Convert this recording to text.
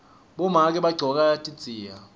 bomake bagcoka tidziya